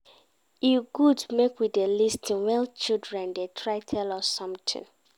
E good make we dey lis ten when children dey try tell us something